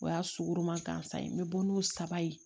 O y'a sugoroman gansan ye n bɛ bɔ n'o saba ye